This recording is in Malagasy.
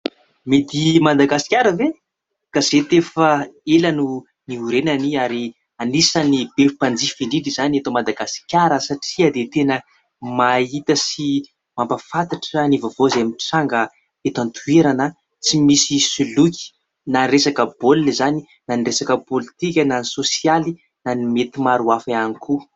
Midi Madagasikara ve ? Gazety efa ela no niorenany ary anisany be mpanjifa indrindra izany eto Madagasikara satria dia tena mahita sy mampafantatra ny vaovao izay mitranga eto an-toerana tsy misy soloky na resaka baolina izany na resaka politika na ny sosialy na ny mety maro hafa ihany koa.